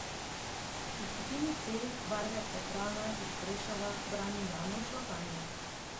V skupini C barve Tatrana iz Prešova brani Januš Lapajne.